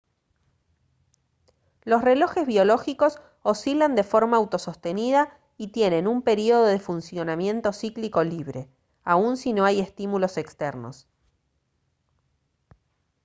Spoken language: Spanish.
los relojes biológicos oscilan de forma autosostenida y tienen un período de funcionamiento cíclico libre aun si no hay estímulos externos